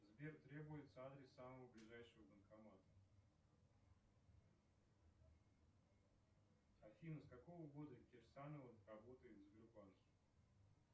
сбер требуется адрес самого ближайшего банкомата афина с какого года кирсанова работает в сбербанке